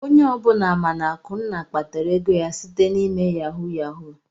Onye ọbụla ma na Akunna kpatara ego ya site n'ịme yahu yahu.